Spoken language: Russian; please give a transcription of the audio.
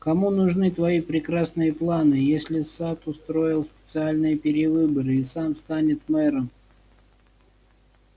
кому нужны твои прекрасные планы если сатт устроит специальные перевыборы и сам станет мэром